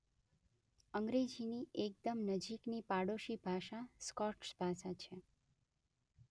અંગ્રેજીની એકદમ નજીકની પાડોશી ભાષા સ્કોટ્સ ભાષા